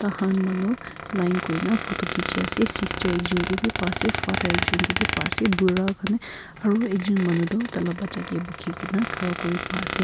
aha han manu line kuri na photo khichi ase sister ekjun ke b pa ase father ekjun ke b pa ase bura khan he aru ekjun manu toh taila bacha ke bukhi gina khara kuri pa ase.